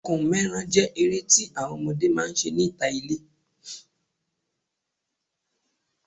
Ẹkùn mẹ́ran jẹ́ eré tí àwọn ọmọdé máa ń ṣe níta ilé